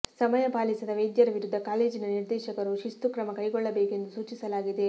ಸಮಯ ಪಾಲಿಸದ ವೈದ್ಯರ ವಿರುದ್ಧ ಕಾಲೇಜಿನ ನಿರ್ದೇಶಕರು ಶಿಸ್ತುಕ್ರಮ ಕೈಗೊಳ್ಳಬೇಕು ಎಂದು ಸೂಚಿಸಲಾಗಿದೆ